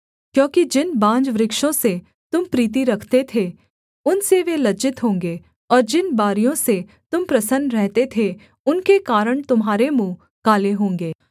क्योंकि जिन बांजवृक्षों से तुम प्रीति रखते थे उनसे वे लज्जित होंगे और जिन बारियों से तुम प्रसन्न रहते थे उनके कारण तुम्हारे मुँह काले होंगे